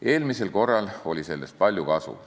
Eelmisel korral oli sellest palju kasu.